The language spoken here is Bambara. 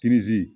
Kirizi